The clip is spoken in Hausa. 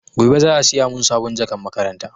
Gobe za a siya mun sabon jakan makaranta